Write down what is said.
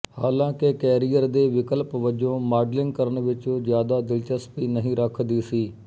ਹਾਲਾਂਕਿ ਕੈਰੀਅਰ ਦੇ ਵਿਕਲਪ ਵਜੋਂ ਮਾਡਲਿੰਗ ਕਰਨ ਵਿੱਚ ਜ਼ਿਆਦਾ ਦਿਲਚਸਪੀ ਨਹੀਂ ਰੱਖਦੀ ਸੀ